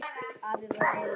Afi var reiður.